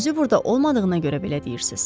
Özü burada olmadığına görə belə deyirsiz.